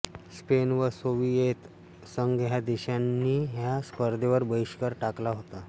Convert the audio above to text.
Spain व Soviet संघ ह्या देशांनी ह्या स्पर्धेवर बहिष्कार टाकला होता